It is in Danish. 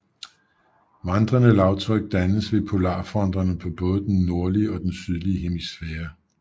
Vandrende lavtryk dannes ved polarfronterne på både den nordlige og den sydlige hemisfære